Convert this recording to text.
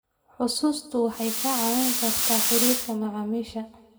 Xusuustu waxay kaa caawin kartaa xiriirka macaamiisha.